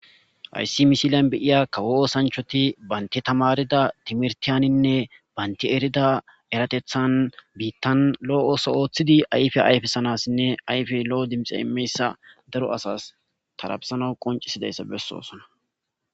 hayssi misilan beyiya kawo osanchoti baynti tamarida timirtiyaninne baynti erida eratethan biittan lo7o ooso ooththidi ayfe ayfesanassinne ayfe lo7o dimxe imeyssa daro asas tarabesana qoncisidayssa bessoosona